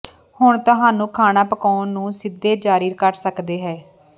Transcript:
ਹੁਣ ਤੁਹਾਨੂੰ ਖਾਣਾ ਪਕਾਉਣ ਨੂੰ ਸਿੱਧੇ ਜਾਰੀ ਕਰ ਸਕਦਾ ਹੈ